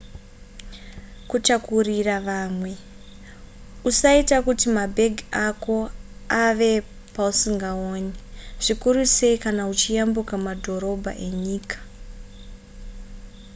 kutakurira vamwe usaita kuti mabhegi ako ave pausingaaoni zvikuru sei kana uchiyambuka mabhodha enyika